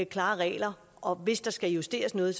klare regler og hvis der skal justeres noget